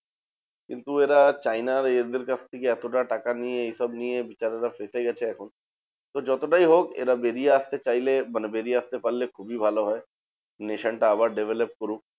কিন্তু এরা চায়নার এদের কাছ থেকে এতটা টাকা নিয়ে এইসব নিয়ে বেচারারা ফেঁসে গেছে এখন। তো যতটাই হোক এরা বেরিয়ে আসতে চাইলে মানে বেরিয়ে আসতে পারলে খুবই ভালো হয়। nation টা আবার develop করুক।